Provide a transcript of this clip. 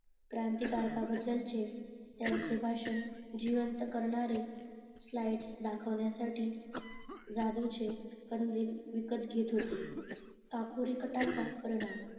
क्रांतीकार बद्दल त्यांचे भाषण जिवंत करणारे दाखवण्यासाठी जादूचे कंदील विकत घेत होते काकुरे कटाचा परिणाम